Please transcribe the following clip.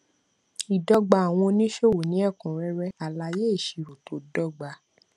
ìdọgba àwọn oníṣòwò ní ẹkúnrẹrẹ alaye ìṣirò tó dọgba